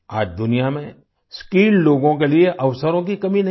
आज दुनिया में स्किल्ड लोगों के लिए अवसरों की कमी नहीं है